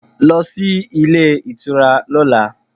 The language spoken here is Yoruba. Go to the hotel tomorrow